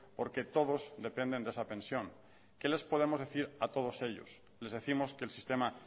porque todos dependen de esa pensión qué les podemos decir a todos ellos les décimos que el sistema